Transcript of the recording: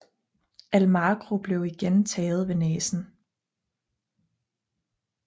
Almagro blev igen taget ved næsen